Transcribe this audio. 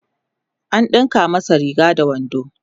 an ɗinka masa Riga da wando